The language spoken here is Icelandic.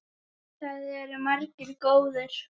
Það eru margir góðir.